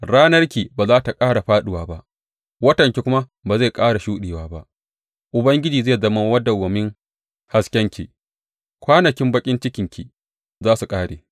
Ranarki ba za tă ƙara fāɗuwa ba watanki kuma ba zai ƙara shuɗewa ba; Ubangiji zai zama madawwamin haskenki, kwanakin baƙin cikinki za su ƙare.